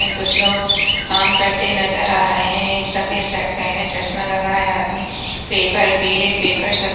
ये कुछ लोग काम करते नजर आ रहे हैं। एक सफ़ेद शर्ट पहने चश्मा लगाए आदमी पेपर पीले पेपर सफ़े --